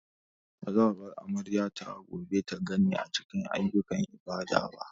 Ba za a bar amaryata ta gobe ta ganni a cikin ayyukan ibada ba.